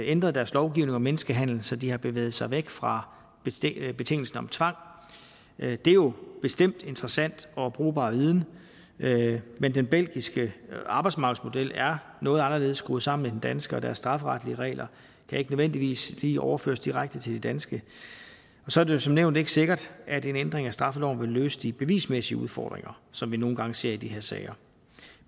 ændret deres lovgivning om menneskehandel så de har bevæget sig væk fra betingelsen om tvang det er jo bestemt interessant og brugbar viden men den belgiske arbejdsmarkedsmodel er noget anderledes skruet sammen end den danske og deres strafferetlige regler kan ikke nødvendigvis lige overføres direkte til de danske og så er det jo som nævnt ikke sikkert at en ændring af straffeloven vil løse de bevismæssige udfordringer som vi nogle gange ser i de her sager